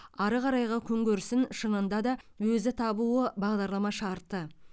ары қарайғы күнкөрісін шынында да өзі табуы бағдарлама шарты